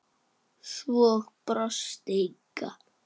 Svo brosti Inga.